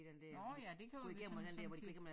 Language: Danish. Nåh ja det kan jo synes som det